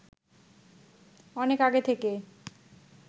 অনেক আগে থেকে